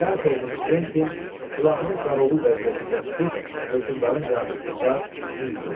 Pərt olmuş Kventin silahını qaravul vəziyyətində tutub hökmdarın qarşısında mil durdu.